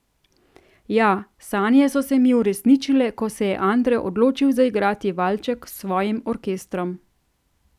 Ja, sanje so se mi uresničile, ko se je Andre odločil zaigrati valček s svojim orkestrom.